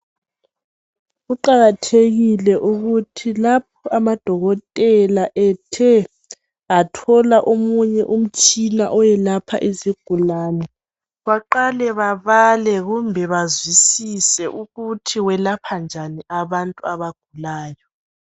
Kuqakathekile ukuthi lapho amadokotela ethe athola omunye umtshina olapha izigulane baqale babale kumbe bazwisise ukuthi welapha njani abantu abagulayo.